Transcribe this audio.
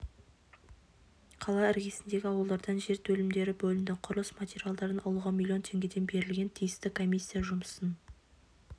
қала іргесіндегі ауылдардан жер телімдері бөлінді құрылыс материалдарын алуға миллион теңгеден берілген тиісті комиссия жұмысын